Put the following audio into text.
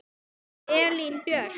Þín Elín Björk.